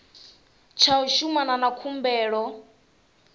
tsha u shumana na khumbelo